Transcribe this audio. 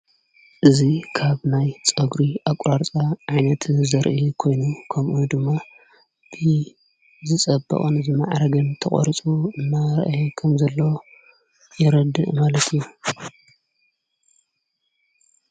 እዙ ካብ ናይ ጸጕሪ ኣቝራርፃ ዓይነቲ ዘርኢ ኮይኑ ከምኡ ድማ ብ ዝጸበቐን ዝመዕረግን ተቖርፁ እናራየ ከም ዘሎ የረድእ ማለትዩ፡፡